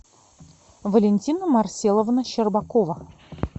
валентина марселовна щербакова